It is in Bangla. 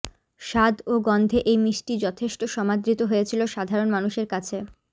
স্বাদ ও গন্ধে এই মিষ্টি যথেষ্ট সমাদৃত হয়েছিল সাধারণ মানুষের কাছে